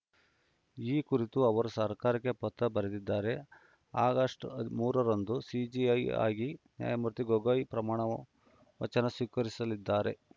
ಈ ಕುರಿತು ಅವರು ಸರ್ಕಾರಕ್ಕೆ ಪತ್ರ ಬರೆದಿದ್ದಾರೆ ಆಗಸ್ಟ್ ಮೂರ ರಂದು ಸಿಜೆಐ ಆಗಿ ನ್ಯಾಯಮೂರ್ತಿ ಗೊಗೊಯ್‌ ಪ್ರಮಾಣ ವಚನ ಸ್ವೀಕರಿಸಲಿದ್ದಾರೆ